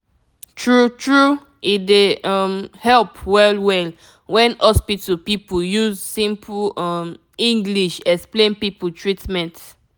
true true e dey um help well well wen hospital people use simple um english explain people treatment